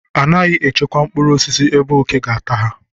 Anaghị echekwa mkpụrụ osisi ebe òké ga-ata ha..